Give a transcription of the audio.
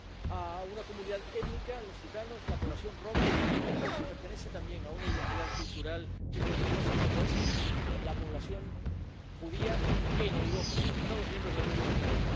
a una comunidad étnica —los gitanos, la población romaní—, y por su pertenencia también a una identidad cultural y religiosa, como es la población judía en Europa, en los Estados miembros de la Unión Europea.